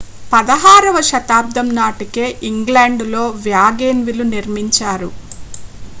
16వ శతాబ్దం నాటికే ఇంగ్లాండులో వ్యాగన్వేలు నిర్మించారు